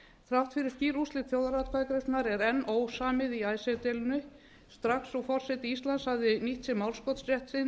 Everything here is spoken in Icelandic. þrátt fyrir skýr úrslit þjóðaratkvæðagreiðslunnar er enn ósamið í icesave deilunni strax og forseti íslands hafði nýtt sér málskotsrétt sinn